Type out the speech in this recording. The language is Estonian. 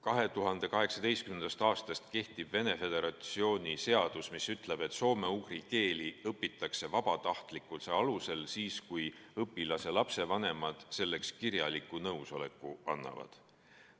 2018. aastast kehtib Venemaa Föderatsioonis seadus, mis ütleb, et soome-ugri keeli õpitakse vabatahtlikkuse alusel siis, kui õpilase vanemad selleks kirjaliku nõusoleku annavad.